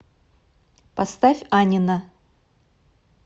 поставь анина